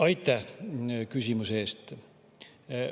Aitäh küsimuse eest!